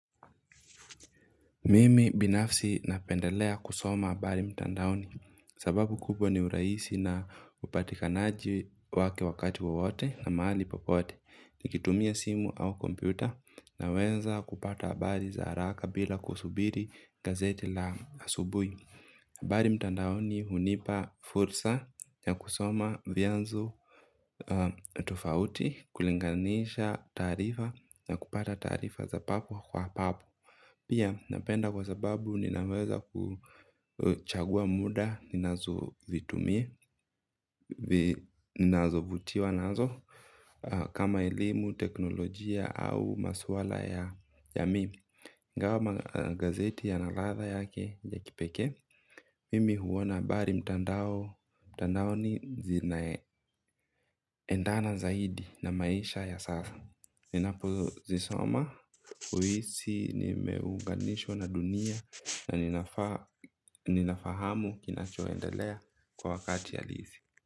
Mimi binafsi napendelea kusoma habari mtandaoni, sababu kubwa ni uraisi na upatikanaji wake wakati wawote na mahali popote, nikitumia simu au kompyuta naweza kupata habari za haraka bila kusubiri gazeti la asubuhi. Habari mtandaoni hunipa fursa na kusoma vyanzo. Tufauti kulinganisha taarifa na kupata taarifa za papo kwa hapo. Pia napenda kwa sababu ninaweza kuchagua muda ninaoutumia. Ninazovutiwa nazo kama elimu teknolojia au maswala ya mi ingawa magazeti yana ladha yake ya kipekee. Mimi huona bari mtandaoni endana zaidi na maisha ya sasa. Ninapo zisoma, huisi nimeunganishwa na dunia na ninafaa ninafahamu kinachoendelea kwa wakati halisi.